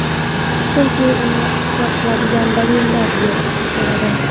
Chunki uni isbot qiladigan dalillar yo‘q bo‘ladi.